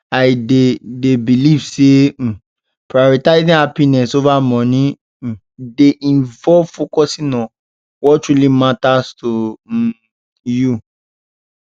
i dey dey believe say um prioritizing happiness over money um dey involve focusing on what truly matters to um you